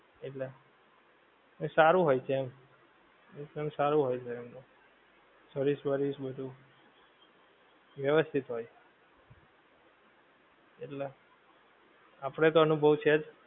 એટલે એ સારું હોએ છે આમ એમ તો એમ સારું હોએ છે એમનું service વરવીશ બધું વેવસતીત હોએ એટલા આપડે તો અનુભવ છેજ